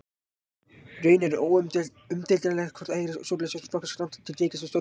Raunar er umdeilanlegt hvort hægra stjórnleysi flokkist strangt til tekið sem stjórnmálastefna.